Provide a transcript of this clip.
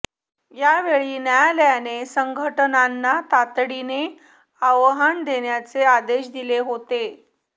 यावेळी न्यायालयाने संघटनांना तातडीने अहवाल देण्याचे आदेश दिले होते